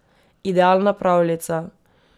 Idealna pravljica!